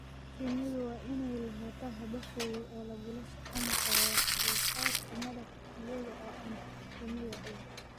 Shinnidu waa inay lahaataa habab fudud oo lagula socon karo wax soo saarka malabka iyada oo aan shinnida dhibin.